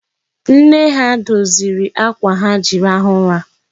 Nne ha doziri akwa ha ji rahụ ụra.